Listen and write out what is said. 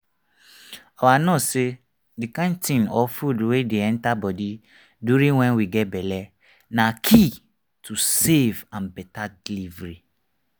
our nurse say the kind thing or food wey dey enter body during wen we get belle na key to safe and better delivery